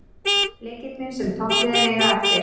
Leikirnir sem toppliðin eiga eftir